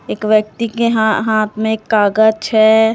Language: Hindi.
एक व्यक्ति के हा हाथ में कागज छे--